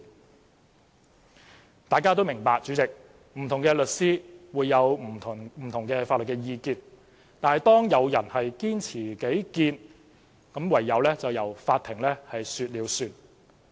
主席，大家也明白，不同的律師會有不同法律意見，但當有人堅持己見時，便唯有由法庭說了算。